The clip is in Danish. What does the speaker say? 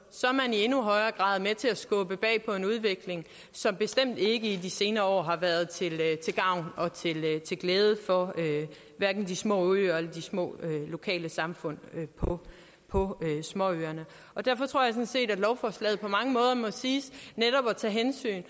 i endnu højere grad er med til at skubbe bag på en udvikling som bestemt ikke i de senere år har været til gavn og glæde for hverken de små øer eller de små lokale samfund på på småøerne derfor tror jeg sådan set at lovforslaget på mange måder både må siges netop at tage hensyn